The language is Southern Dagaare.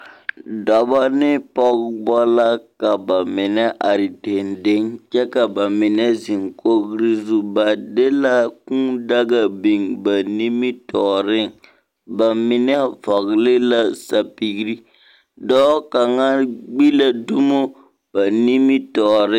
Dɔba ne Pɔgeba la. ka ba mine are dendeŋ kyɛ ka ba mine zeŋ kogiri zuŋ. Ba de la kūū daga biŋ ba nimitɔɔreŋ. Ba mine vɔgele la sapigiri. Dɔɔ kaŋa gbi la dumo ba nimitɔɔre.